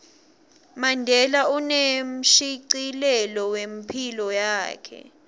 mandela unemshicilelo wephilo yakhe